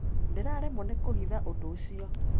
Ndĩraremwo nĩ kũhitha ũndũ ũcio